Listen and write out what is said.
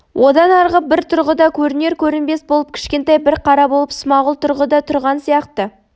одан арғы бір тұрғыда көрінер-көрінбес болып кішкентай бір қара болып смағұл тұрғыда тұрған сияқты